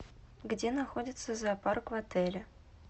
где находится зоопарк в отеле